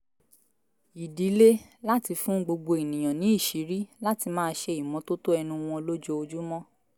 ìdílé láti fún gbogbo ènìyàn ní ìṣìírí láti máa ṣe ìmọ́tótó ẹnu wọn lójoojúmọ́